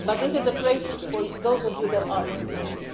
But this is praise for those of you who are in the room.